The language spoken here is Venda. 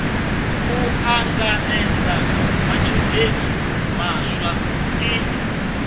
u ṱanganedza matshudeni maswa ḓi